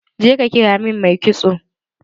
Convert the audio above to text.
Je ka kira min mai kitson!